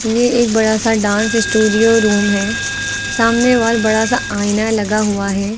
ये एक बड़ा सा डांस स्टूडियो रूम है सामने वॉल बड़ा सा आईना लगा हुआ है।